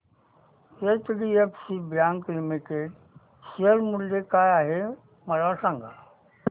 HDFC bank limited share मूल्य काय आहे मला सांगा